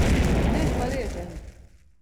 Nehvaležen?